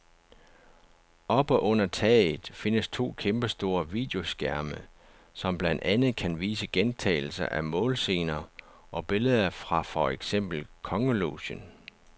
Oppe under taget findes to kæmpestore videoskærme, som blandt andet kan vise gentagelser af målscener og billeder fra for eksempel kongelogen.